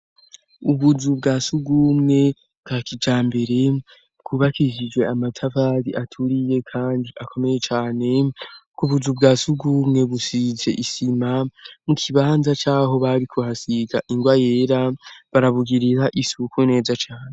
Ubuzu bwa sugumwe bwa kija mbere bwubakishijwe amatavali aturiye, kandi akomeye cane kubuzu bwa sugumwe busize isima mu kibanza caho bari kuhasiga ingwa yera barabugirira isuku neza cane.